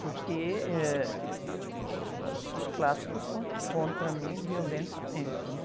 Porque, eh, ãh, as, os clássicos foram contra mim violentamente, né?